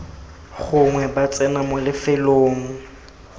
gongwe ba tsena mo lefelong